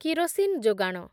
kerosene ଯୋଗାଣ